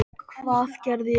Hvað gerði ég?